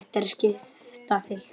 Hægt er að skipta fylkinu